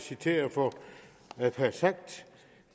citeret for at have sagt